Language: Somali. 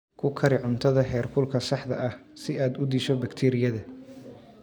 Ku kari cuntada heerkulka saxda ah si aad u disho bakteeriyada.